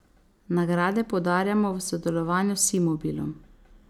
Nagrade podarjamo v sodelovanju s Simobilom.